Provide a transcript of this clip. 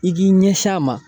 I k'i ɲɛsin a ma